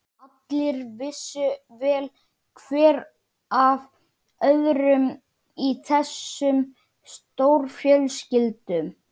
Allir vissu vel hver af öðrum í þessum stórfjölskyldum.